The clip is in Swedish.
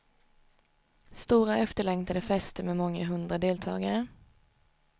Stora efterlängtade fester med många hundra deltagare.